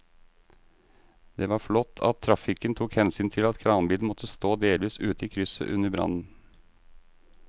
Det var flott at trafikken tok hensyn til at kranbilen måtte stå delvis ute i krysset under brannen.